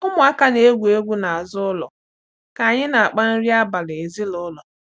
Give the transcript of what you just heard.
Ụmụaka na-egwu egwu n’azụ ụlọ ka anyị na-akpa nri abalị ezinụlọ.